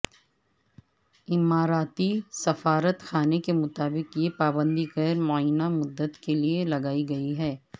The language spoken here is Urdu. اماراتی سفارت خانے کے مطابق یہ پابندی غیر معینہ مدت کے لیے لگائی گئی ہے